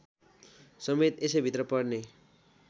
समेत यसैभित्र पर्ने